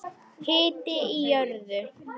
Hiti í jörðu